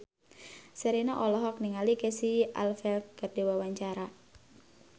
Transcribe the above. Sherina olohok ningali Casey Affleck keur diwawancara